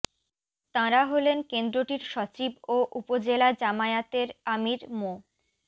তাঁরা হলেন কেন্দ্রটির সচিব ও উপজেলা জামায়াতের আমির মো